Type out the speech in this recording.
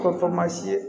Ko